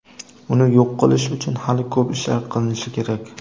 uni yo‘q qilish uchun hali ko‘p ishlar qilinishi kerak.